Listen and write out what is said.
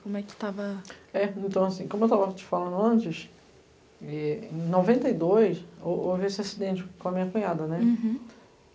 Como é que estava... É, então assim, como eu estava te falando antes, em noventa e dois, houve esse acidente com a minha cunhada, né?